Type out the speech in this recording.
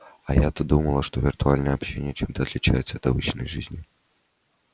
а я-то думала что виртуальное общение чем-то отличается от обычной жизни